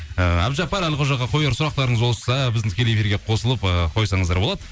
ііі әбдіжаппар әлқожаға қояр сұрақтарыңыз болса біздің тікелей эфирге қосылып ыыы қойсаңыздар болады